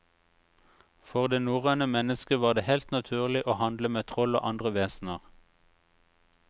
For det norrøne menneske var det helt naturlig å handle med troll og andre vesener.